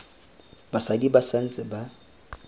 basadi ba sa ntse ba